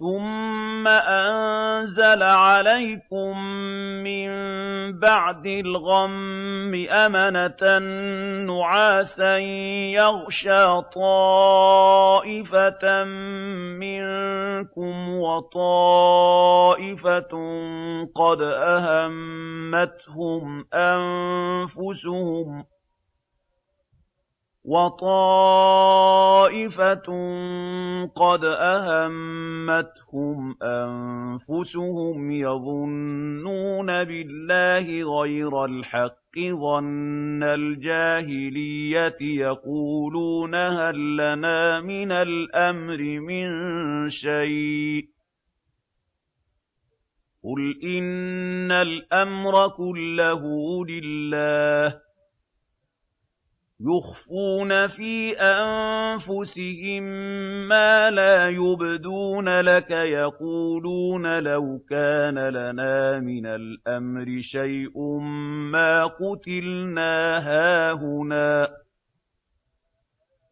ثُمَّ أَنزَلَ عَلَيْكُم مِّن بَعْدِ الْغَمِّ أَمَنَةً نُّعَاسًا يَغْشَىٰ طَائِفَةً مِّنكُمْ ۖ وَطَائِفَةٌ قَدْ أَهَمَّتْهُمْ أَنفُسُهُمْ يَظُنُّونَ بِاللَّهِ غَيْرَ الْحَقِّ ظَنَّ الْجَاهِلِيَّةِ ۖ يَقُولُونَ هَل لَّنَا مِنَ الْأَمْرِ مِن شَيْءٍ ۗ قُلْ إِنَّ الْأَمْرَ كُلَّهُ لِلَّهِ ۗ يُخْفُونَ فِي أَنفُسِهِم مَّا لَا يُبْدُونَ لَكَ ۖ يَقُولُونَ لَوْ كَانَ لَنَا مِنَ الْأَمْرِ شَيْءٌ مَّا قُتِلْنَا هَاهُنَا ۗ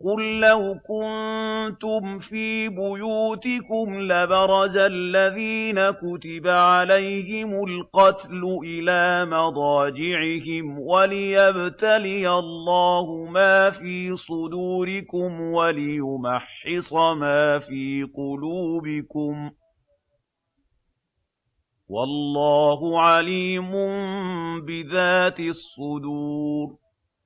قُل لَّوْ كُنتُمْ فِي بُيُوتِكُمْ لَبَرَزَ الَّذِينَ كُتِبَ عَلَيْهِمُ الْقَتْلُ إِلَىٰ مَضَاجِعِهِمْ ۖ وَلِيَبْتَلِيَ اللَّهُ مَا فِي صُدُورِكُمْ وَلِيُمَحِّصَ مَا فِي قُلُوبِكُمْ ۗ وَاللَّهُ عَلِيمٌ بِذَاتِ الصُّدُورِ